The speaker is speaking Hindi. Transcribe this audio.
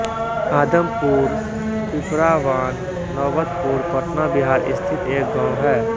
आदमपुरपीपरावान नौबतपुर पटना बिहार स्थित एक गाँव है